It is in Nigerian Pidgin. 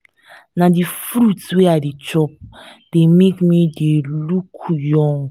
na the fruit wey i dey chop dey make me look young